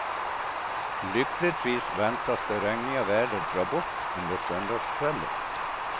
Lyckligtvis väntas det regniga vädret dra bort under söndagskvällen.